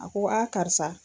A ko a karisa.